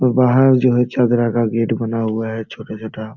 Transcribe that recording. बाहर जो है चद्रा का का गेट बना हुआ है छोटा-छोटा --